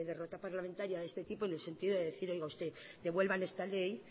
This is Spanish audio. derrota parlamentaria de este tipo en el sentido de decir oiga usted devuelvan esta ley